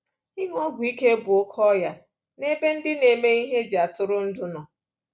Ịṅụ ọgwụ ike bụ oke ọya nebe ndị na-eme ihe eji atụrụndụ nọ.